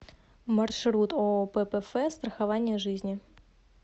маршрут ооо ппф страхование жизни